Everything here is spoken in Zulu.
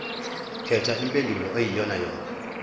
khetha impendulo eyiyonayona